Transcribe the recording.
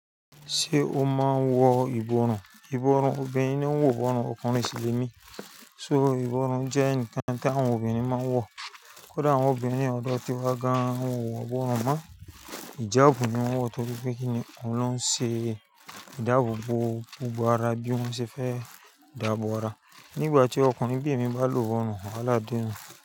Ṣé o máa ń wọ ìbọrùn? Ìbọrùn obìnrin ni o ń wọ ìbọrùn ọkùnrin sì le ní. So ìbọrùn jẹ́ ǹkan tí àwọn obìnrin máa ń wọ. Kódà àwọn obìnrin ọ̀dọ́ tí wọ́n gan wọ ìbọrùn máa ń ìjabu ní wọ́n wọ torí pé kí ni òun ló ń ṣe ìjabu bo gbogbo ara bí ó ṣe fẹ́ dàbò ara. Nígbà tí ọkùnrin bí èmi bá lò ìbọrùn, wàhálà de nu.